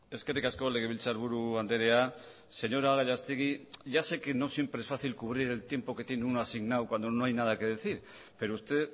eskerrik asko legebiltzarburu andrea señora gallastegui ya sé que no siempre es fácil cubrir el tiempo que tiene uno asignado cuando no hay nada que decir pero usted